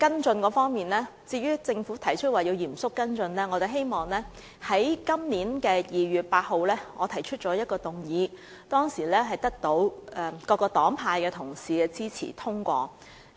至於政府提出會嚴肅跟進新措施的成效，我在今年2月8日提出的一項議案得到各黨派的同事支持並獲得通過。